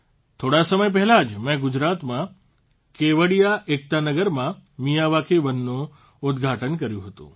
થોડા સમય પહેલાં જ મેં ગુજરાતમાં કેવડિયા એકતાનગરમાં મિયાવાકી વનનું ઉદઘાટન કર્યું હતું